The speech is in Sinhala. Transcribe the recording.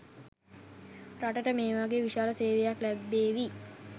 රටට මේ වගේ විශාල සේවයක් ලැබේවි